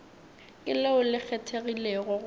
ke leo le kgethegilego go